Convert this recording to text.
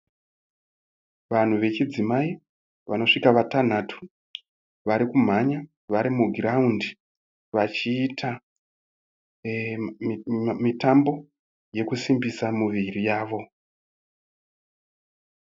Vanhu vechidzimai anosvika vatanhatu, varikumhanya vari mugiraundi, vachiita mitambo yekusimbisa muviri yavo.